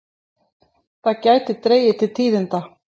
Það gæti dregið til tíðinda.